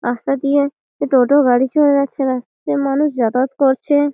রাস্তা দিয়ে টোটো গাড়ি চলে যাচ্ছে রাস্তার মানুষ যাতায়াত করছে।